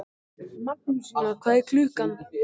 Magnúsína, hvað er klukkan?